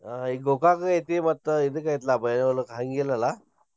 ಹಾ ಈ Gokak ಐತಿ, ಮತ್ತ್ ಇದ್ಕ ಐತ್ಲ್ಯಾ ಬೈಲಹೊಂಗಲದ್ ಹಂಗಿಲ್ಲಲಾ?